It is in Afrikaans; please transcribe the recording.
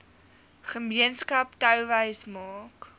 gemeenskap touwys maak